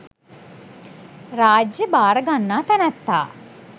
රාජ්‍ය භාර ගන්නා තැනැත්තා